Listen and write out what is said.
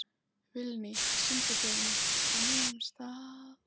Vilný, syngdu fyrir mig „Á nýjum stað“.